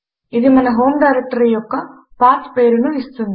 ఇది మన home directory యొక్క పాత్ పేరు ను ఇస్తుంది